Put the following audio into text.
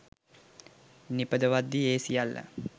නිපදවද්දි ඒ සියල්ල